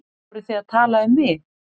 Voruð þið að tala um mig?